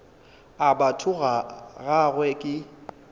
a batho ga gagwe ke